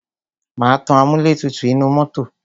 Má tan amúlẹ̀tutù inú mọ́tọ̀.